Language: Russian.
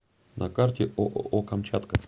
на карте ооо камчатка